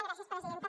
gràcies presidenta